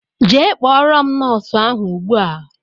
Jee kpọrọ m nóósu ahụ ùgbúà!!!!